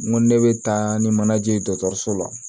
N ko ni ne bɛ taa ni manaje ye dɔgɔtɔrɔso la